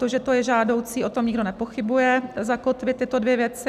To, že to je žádoucí - o tom nikdo nepochybuje - zakotvit tyto dvě věci.